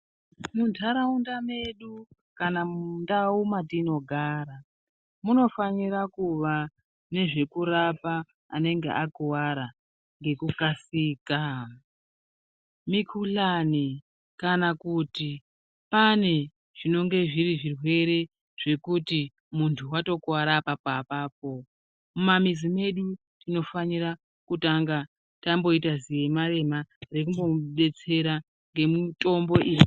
Mundaraunda mwedu kana mundau mwatinogara ,munofanira kuva nezvekurapa anee akuvara ngekukasika. Mikuhlani kana kuti pane zvinokone kunge zviri zvirwere zvekuti muntu watokuware apapo apapo ,mumamizi medu tinofanira kutanga tamboite ziyema yema rekumbomubetsera ngemitombo iyi.